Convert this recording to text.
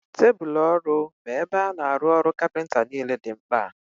Tebụlu ọrụ bụ ebe a na-arụ ọrụ kapịnta niile dị mkpa